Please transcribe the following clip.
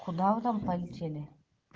куда вы там полетели